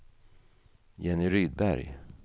Jenny Rydberg